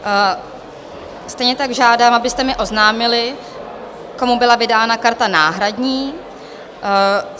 Stejně tak žádám, abyste mi oznámili, komu byla vydána karta náhradní.